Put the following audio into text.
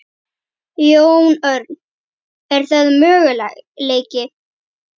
Jón Örn: Er það möguleiki?